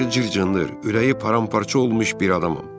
Üst-başı cır-cındır, ürəyi paramparça olmuş bir adamam.